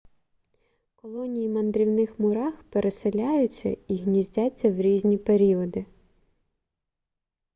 колонії мандрівних мурах переселяються і гніздяться в різні періоди